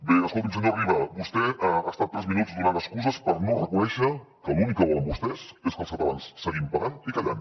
bé escolti’m senyor riba vostè ha estat tres minuts donant excuses per no reconèixer que l’únic que volen vostès és que els catalans seguim pagant i callant